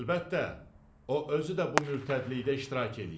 Əlbəttə, o özü də bu mürtədlikdə iştirak eləyib.